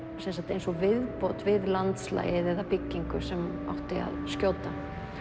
eins og viðbót við landslagið eða byggingu sem átti að skjóta